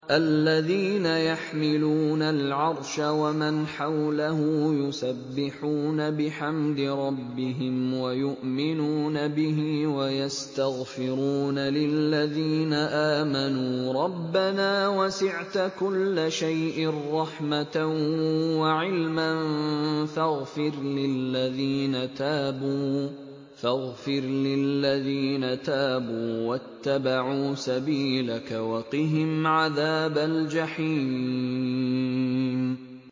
الَّذِينَ يَحْمِلُونَ الْعَرْشَ وَمَنْ حَوْلَهُ يُسَبِّحُونَ بِحَمْدِ رَبِّهِمْ وَيُؤْمِنُونَ بِهِ وَيَسْتَغْفِرُونَ لِلَّذِينَ آمَنُوا رَبَّنَا وَسِعْتَ كُلَّ شَيْءٍ رَّحْمَةً وَعِلْمًا فَاغْفِرْ لِلَّذِينَ تَابُوا وَاتَّبَعُوا سَبِيلَكَ وَقِهِمْ عَذَابَ الْجَحِيمِ